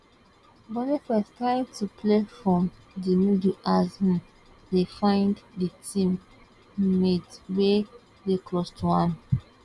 boniface trying to play from di middle as um e find di team um mate wey dey close to am